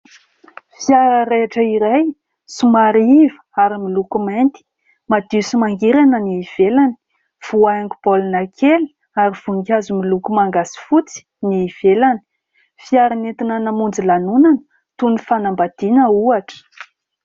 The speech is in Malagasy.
Fiara raitra iray somary iva ary miloko mainty madio sy mangirana ny ivelany, voahaingo baolina kely ary voninkazo miloko manga sy fotsy ny ivelany. Fiara nentina namonjy lanonana toy ny fanambadiana ohatra.